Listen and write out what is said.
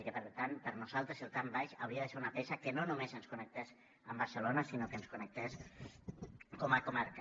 i que per tant per nosaltres el trambaix hauria de ser una peça que no només ens connectés amb barcelona sinó que ens connectés com a comarca